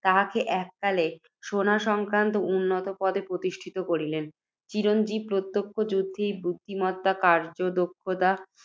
তাহাকে এককালে সেনাসংক্রান্ত উন্নত পদে প্রতিষ্ঠিত করিলেন। চিরঞ্জীব প্রত্যেক যুদ্ধেই বুদ্ধিমত্তা, কার্য্যদক্ষতা,